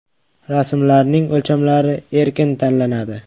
Rasmlarning o‘lchamlari erkin tanlanadi.